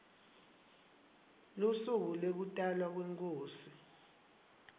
lusuku lekutalwa kwenkhosi